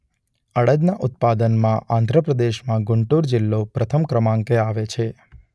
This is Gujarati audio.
અડદના ઉત્પાદનમાં આધ્રપ્રદેશમાં ગુંટુર જિલ્લો પ્રથમ ક્રમાંકે આવે છે.